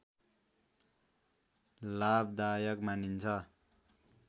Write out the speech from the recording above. लाभदायक मानिन्छ